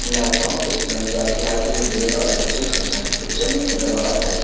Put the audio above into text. naitok ke shenamjak lighting rea oe o jaga chongsari kosong tangkha o tai.